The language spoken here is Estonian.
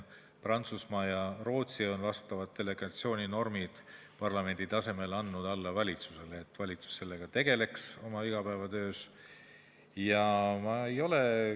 Prantsusmaa ja Rootsi on vastavad delegatsiooninormid parlamendi tasemel valitsusele andnud, et valitsus sellega oma igapäevatöös tegeleks.